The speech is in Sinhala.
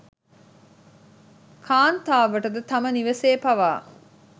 කාන්තාවටද තම නිවෙසේ පවා